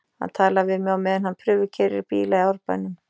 Hann talar við mig á meðan hann prufukeyrir bíla í Árbænum.